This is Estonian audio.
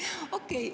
Okei.